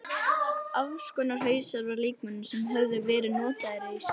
Afskornir hausar af líkömum sem höfðu verið notaðir í sápur.